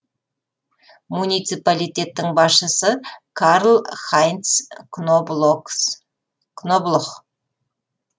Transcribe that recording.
муниципалитеттің басшысы карл хайнц кноблох